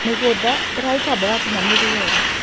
Mĩgũnda ĩrarũta mboga ũkĩnyanĩrũ mwega